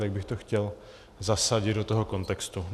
Tak bych to chtěl zasadit do toho kontextu.